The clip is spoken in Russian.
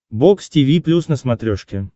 бокс тиви плюс на смотрешке